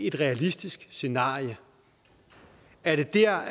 et realistisk scenarie er det der